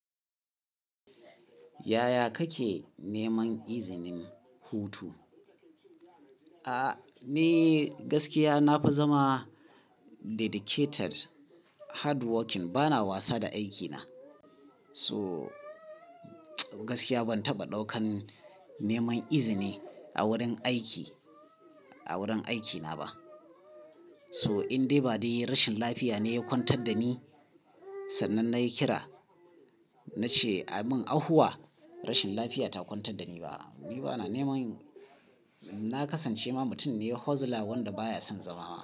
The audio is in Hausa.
Yaya kake neman izinin hutu? A'a ni gaskiya na fi zama dedicated, hardworking bana wasa da aikina. So gaskiya ban taɓa ɗaukan neman izini a wurin aiki, a wurin aikina ba. So in dai ba dai rashin lafiya ne ya kwantar da ni sannan nayi kira, na ce a min ahuwa rashin lafiya ta kwantar da ni ba a'a. Ni bana neman, na kasance ma mutum ne hustler wanda baya son zama.